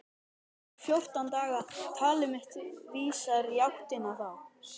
Eftir fjórtán daga- talið mitt vísar í áttina þá.